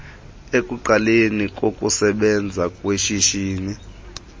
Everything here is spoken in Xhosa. ekuqaleni kokusebenza kweshishini